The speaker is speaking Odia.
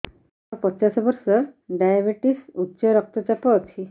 ମୋର ପଚାଶ ବର୍ଷ ଡାଏବେଟିସ ଉଚ୍ଚ ରକ୍ତ ଚାପ ଅଛି